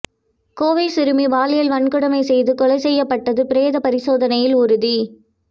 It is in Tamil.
கோவை சிறுமி பாலியல் வன்கொடுமை செய்து கொலை செய்யப்பட்டது பிரேத பரிசோதனையில் உறுதி